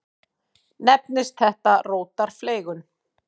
Nefnist þetta rótarfleygun.